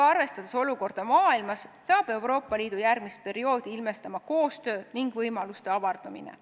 Arvestades olukorda maailmas, hakkab Euroopa Liidu järgmist perioodi ilmestama koostöö ning võimaluste avardumine.